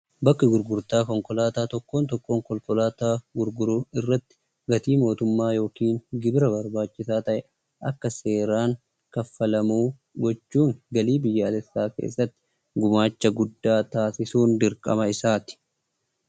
Bakki gurgurtaa konkolaataa tokkoon tokkoon konkolaataa gurguruu irratti gatii mootummaa yookiin gibira barbaachisaa ta'e akka seeraan kaffalamu gochuun galii biyyaalessaa keessatti gumaacha taasisuun dirqama isaati.